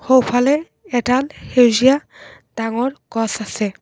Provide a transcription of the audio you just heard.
সোঁফালে এডাল সেউজীয়া গছ আছে।